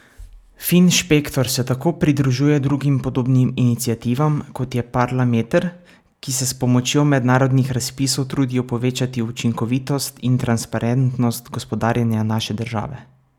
Finšpektor se tako pridružuje drugim podobnim iniciativam, kot je Parlameter, ki se s pomočjo mednarodnih razpisov trudijo povečati učinkovitost in transparentnost gospodarjenja naše države.